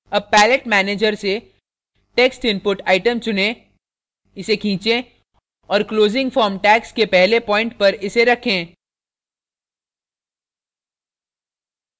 अब palette manager से text input item चुनें इस खीचें और closing form tags के पहले प्वाइंट पर इसे रखें